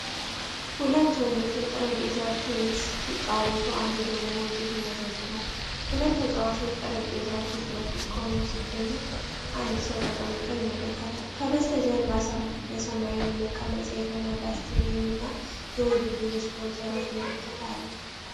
ሁለት ወንዶች የጠረጴዛ ቴኒስ ሲጫወቱ፣ አንዱ ደግሞ ውጤት ይመዘግባሉ። ሁለት ተጨዋቾች ጠረጴዛው ፊት ለፊት ቆመው ሲገኙ፣ አንድ ሰው ተቀምጦ ይመለከታል። ከበስተጀርባ በሰማያዊ መቀመጫ የተሞላ ስታዲየም እና የውድድሩ ስፖንሰሮች ምልክት አለ።